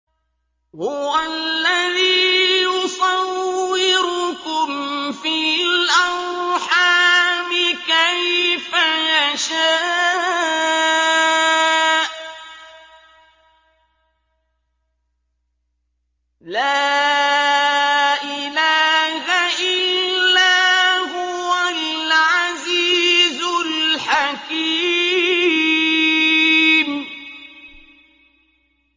هُوَ الَّذِي يُصَوِّرُكُمْ فِي الْأَرْحَامِ كَيْفَ يَشَاءُ ۚ لَا إِلَٰهَ إِلَّا هُوَ الْعَزِيزُ الْحَكِيمُ